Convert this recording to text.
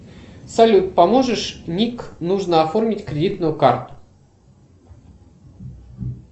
салют поможешь ник нужно оформить кредитную карту